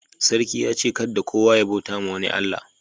Sarki ya ce' kadda kowa ya bauta ma wani Allah.